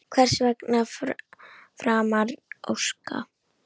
Hvers er framar að óska?